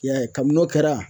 I y'a ye kabin' o kɛra